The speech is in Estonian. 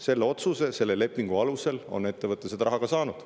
Selle otsuse, selle lepingu alusel on ettevõte raha ka saanud.